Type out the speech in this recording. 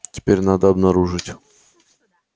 теперь надо обнаружить